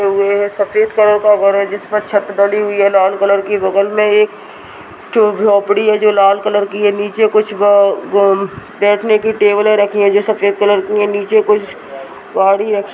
सफेद कलर का घर है जिसपर छत ढली हुई है लाल कलर की बगल में एक च-झोपड़ी है जो लाल कलर की है निचे कुछ ब-ब बैठने की टेबले रखी है जो सफ़ेद कलर की है नीचे कुछ गाड़ी रखी --